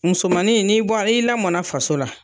Musomanin n'i bɔ, n'i lamɔnna faso la,